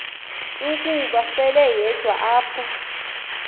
ukuba seleyedwa apho